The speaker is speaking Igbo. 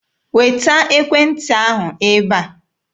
Weta ekwentị ahụ ebe a!